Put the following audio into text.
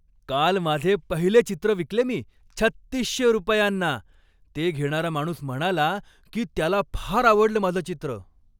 काल माझे पहिले चित्र विकले मी, तीन हजार सहाशे रुपयांना. ते घेणारा माणूस म्हणाला की त्याला फार आवडलं माझं चित्र!